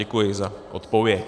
Děkuji za odpověď.